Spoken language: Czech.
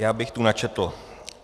Já bych tu načetl.